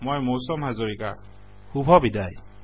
মই মৌচম হাজৰিকা শুভবিদায়